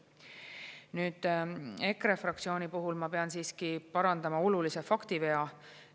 Nüüd, EKRE fraktsiooni puhul ma pean siiski parandama olulise faktivea.